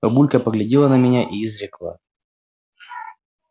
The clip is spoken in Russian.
бабулька поглядела на меня и изрекла